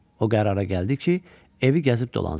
O qərara gəldi ki, evi gəzib dolansın.